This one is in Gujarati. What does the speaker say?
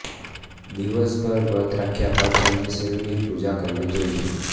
દિવસભર વ્રત રાખ્યા બાદ સાંજે શિવની પૂજા કરવી જોઈએ